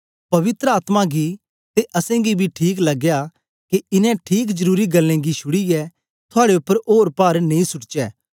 पवित्र आत्मा गी ते असेंगी बी ठीक लगया के इनें ठीक जरुरी गल्लें गी शुड़ीयै थुआड़े उपर ओर पार नेई सुट्टचै